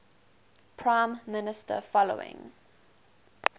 prime minister following